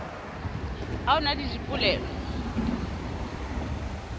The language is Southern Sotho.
ha o na le dipoleo